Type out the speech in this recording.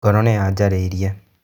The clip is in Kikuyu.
Ngoro nĩyanjarĩirie.